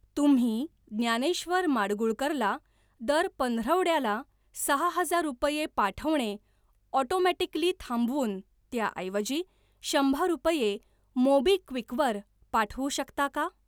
तुम्ही ज्ञानेश्वर माडगूळकर ला दर पंधरवड्याला सहा हजार रुपये पाठवणे ऑटोमॅटिकली थांबवून, त्याऐवजी शंभर रुपये मोबिक्विक वर पाठवू शकता का?